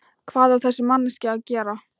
Hvað á þessi manneskja að gera?